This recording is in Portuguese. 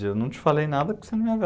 Eu não te falei nada que você não ia ver.